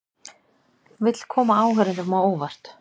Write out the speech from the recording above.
Vill koma áhorfendum á óvart